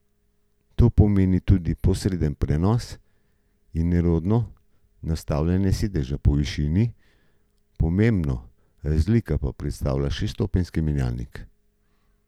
To pomeni tudi posreden prenos in nerodno nastavljanje sedeža po višini, pomembno razliko pa predstavlja šeststopenjski menjalnik.